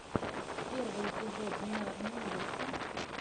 первый эпизод бинарный инвестор